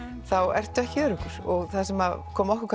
þá ertu ekki öruggur og það sem kom okkur